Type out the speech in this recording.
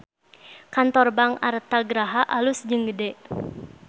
Kantor Bank Artha Graha alus jeung gede